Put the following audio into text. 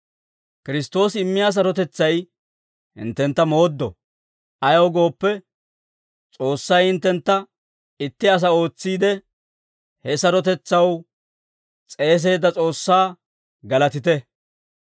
Kiristtoosi immiyaa sarotetsay hinttentta mooddo; ayaw gooppe, S'oossay hinttentta itti asaa ootsiide, he sarotetsaw s'eeseedda S'oossaa galatite.